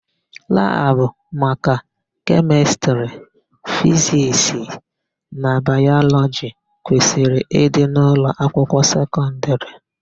Labụ maka Kemịstrị, Fiziks na Bayọlọgi kwesịrị ịdị n'ụlọakwụkwọ sekọndịrị.